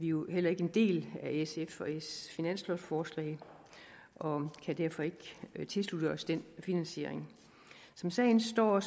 jo heller ikke en del af sf og ss finanslovforslag og kan derfor ikke tilslutte os den finansiering som sagen står